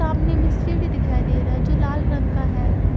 सामने में सीढ़ी दिखाई दे रहा है जो लाल रंग का है।